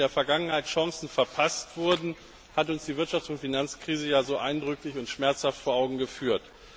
Dass in der Vergangenheit Chancen verpasst wurden, hat uns die Wirtschafts und Finanzkrise ja so eindrücklich und schmerzhaft vor Augen geführt.